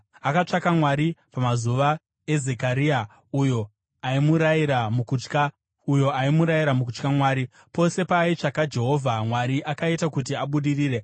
Akatsvaka Mwari pamazuva aZekaria, uyo aimurayira mukutya Mwari. Pose paaitsvaka Jehovha, Mwari akaita kuti abudirire.